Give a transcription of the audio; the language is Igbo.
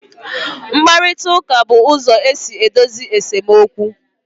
Nkparịta ụka bụ ụzọ esi edozi esemokwu